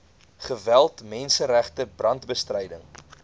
geweld menseregte brandbestryding